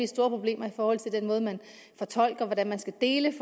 store problemer i forhold til den måde man fortolker hvordan man skal dele